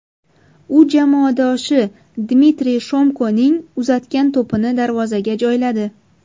U jamoadoshi Dmitriy Shomkoning uzatgan to‘pini darvozaga joyladi.